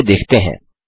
चलिए देखते हैं